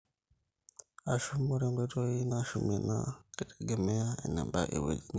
ashum, ore enkoitoi nishumie naa keitegemea enebaa ewueji niata